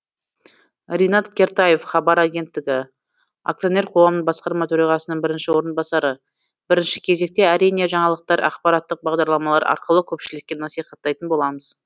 ринат кертаев хабар агенттігі акционер қоғамның басқарма төрағасының бірінші орынбасары бірінші кезекте әрине жаңалықтар ақпараттық бағдарламалар арқылы көпшілікке насихаттайтын боламыз